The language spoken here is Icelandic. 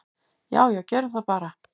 """Já já, gerum það bara."""